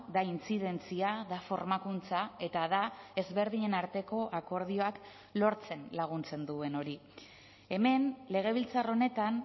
da intzidentzia da formakuntza eta da ezberdinen arteko akordioak lortzen laguntzen duen hori hemen legebiltzar honetan